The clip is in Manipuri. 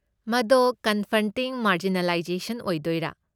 ꯃꯗꯣ 'ꯀꯟꯐ꯭ꯔꯟꯇꯤꯡ ꯃꯥꯔꯖꯤꯅꯦꯂꯥꯏꯖꯦꯁꯟ' ꯑꯣꯏꯗꯣꯏꯔꯥ?